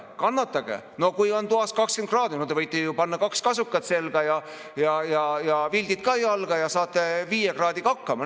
Kui toas on 20 kraadi, siis võite ju panna kaks kasukat selga ja vildid jalga ja saate ka viie kraadiga hakkama.